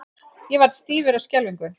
Ég varð stífur af skelfingu.